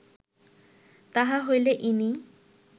তাহা হইলে ইনি